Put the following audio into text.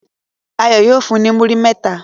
Ayo yóò fun e ni muri mẹta